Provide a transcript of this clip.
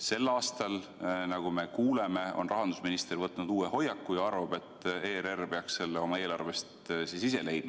Sel aastal, nagu me oleme kuulnud, on rahandusminister võtnud uue hoiaku ja arvab, et ERR peaks selle raha oma eelarvest ise leidma.